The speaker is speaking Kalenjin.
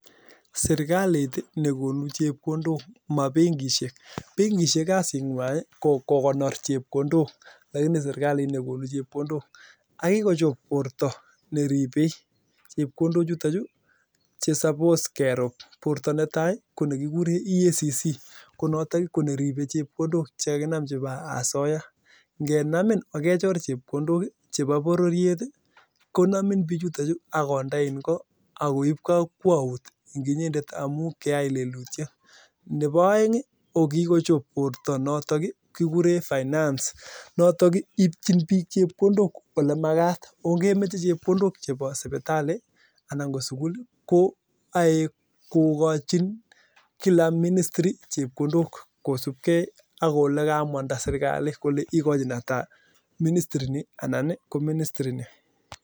Sirkalit nekonuu chepkondok ako mabenkishek amuu kasit ab benkishek kokoron chepkondok kikochop borto neribee borta netai kekuree EACC notok koribee chepkondok ab asoyaa neboo aeng ko borto ab (finance) notok ibchin bik chepkondok olee makat eng ministiri